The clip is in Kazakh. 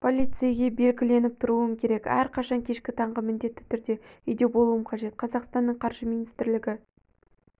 полицейге белгіленіп тұруым керек әрқашан кешкі таңғы міндетті түрде үйде болуым қажет қазақстанның қаржы министрлігі